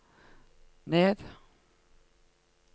ned